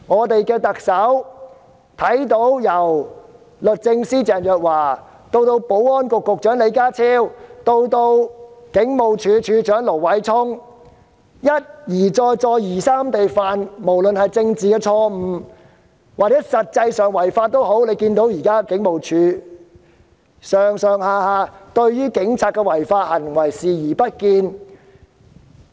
特首看到律政司司長鄭若驊、保安局局長李家超及前警務處處長盧偉聰一而再、再而三地犯下政治錯誤或實際違法，而大家亦看到，警務處上上下下對警員的違法行為視而不見。